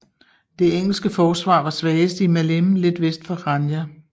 Det engelske forsvar var svagest i Maleme lidt vest for Chania